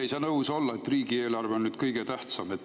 Ei saa nõus olla, nagu riigieelarve oleks kõige tähtsam.